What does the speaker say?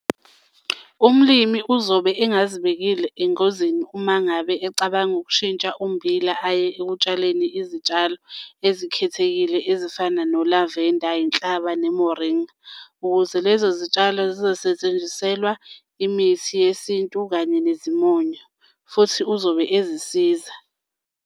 Umlimi uzobe engazibekile engozini uma ngabe ecabanga ukushintsha ummbila aye ekutshaleni izitshalo ezikhethekile ezifana nolavenda inhlaba nemoringa ukuze lezo zitshalo zizosetshenziselwa imithi yesintu kanye nezimonyo futhi uzobe ezisiza.